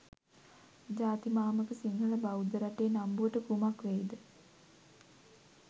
ජාතිමාමක සිංහල බෞද්ධ රටේ නම්බුවට කුමක් වේද?